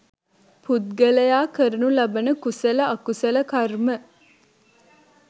පුද්ගලයා කරනු ලබන කුසල අකුසල කර්ම